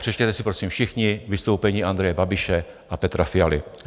Přečtěte si prosím všichni vystoupení Andreje Babiše a Petra Fialy.